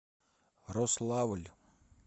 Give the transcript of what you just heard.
рославль